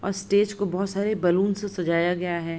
अ stage को बहुत सारे बैलून से सजा गया है।